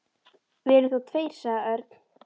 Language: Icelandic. Við erum þó tveir, sagði Örn.